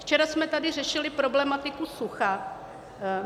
Včera jsme tady řešili problematiku sucha.